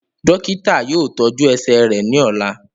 Dokita yoo tọju ẹsẹ rẹ ni ọla.